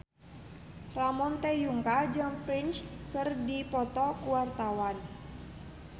Ramon T. Yungka jeung Prince keur dipoto ku wartawan